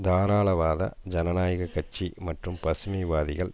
தாராளவாத ஜனநாயக கட்சி மற்றும் பசுமை வாதிகள்